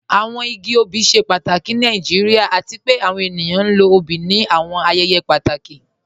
Awọn igi ọbì ṣẹ pàtàkì ni Nàìjíríà, àti pẹ̀ àwọn ènìyàn lọ ọ̀bì ní àwọn ayẹyẹ pàtàkì.